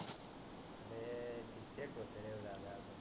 किती खुश रे झालास